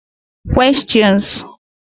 Questions